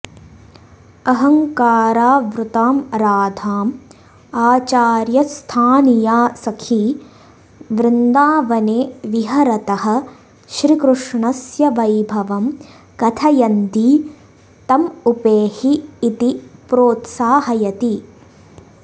अहङ्कारावृतां राधाम् आचार्यस्थानीया सखी वृन्दावने विहरतः श्रीकृष्णस्य वैभवं कथयन्ती तम् उपेहि इति प्रोत्साहयति